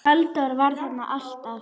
Halldór var þarna alltaf.